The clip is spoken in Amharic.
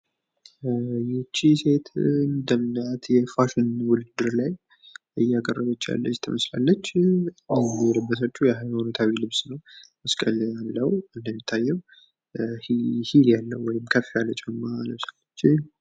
ይቺ ሴት በፋሽን ውድድር ላይ እያቀረበች ያለሽ ትመስላለች። የለበሰችው የሃይማኖታዊ ልብስ ነው። እንደሚታየው ሂል ያለው ወይም ከፍ ያለ ጫማ ለብሳለች።